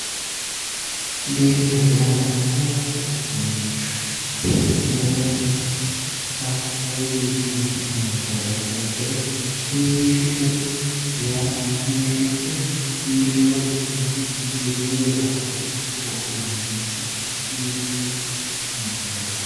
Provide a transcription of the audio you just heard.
Biifisate yaa mittoricho, mitto uduunicho seekkinoniha ikkiro biinfinse yaa biifinoricho leeelinshiro biifino yinneemmo.